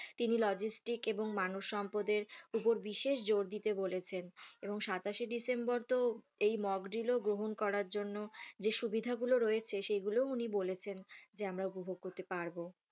তিনি লজিস্টিক এবং মানবসম্পদের ওপর বিশেষ জোর দিতে বলেছেন এবং সাতাশে ডিসেম্বর তো এই mock drill ও গ্রহণ করার জন্য যে সুবিধাগুলো রয়েছে সেগুলোও উনি বলেছেন যে আমরা উপভোগ করতে পারবো।